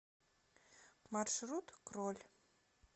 маршрут кроль